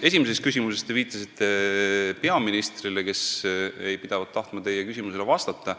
Esimeses küsimuses te viitasite peaministrile, kes ei pidavat tahtma teie küsimustele vastata.